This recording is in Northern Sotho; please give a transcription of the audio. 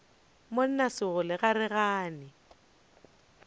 monna sekgole ga re gane